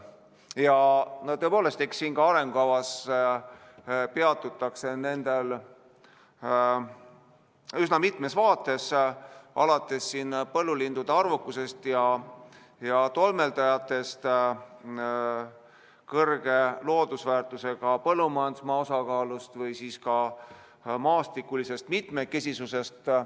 Ja tõepoolest, ka siin arengukavas peatutakse nendel üsna mitmes vaates, alates põllulindude arvukusest ja tolmeldajatest, kõrge loodusväärtusega põllumajandusmaa osakaalust või maastikulisest mitmekesisusest.